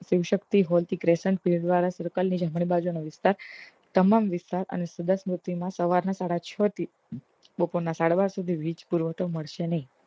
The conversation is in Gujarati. શિવ શક્તિ હોલ ઇચ્રેસન વાળા circle ની જમણી બાજુનો વિસ્તાર તમામ વિસ્તાર અને એક સો દસ ના સાડા છ થી બોપોર ના સાડા બાર સુધી વીજ પુરવઠો મળશે નહી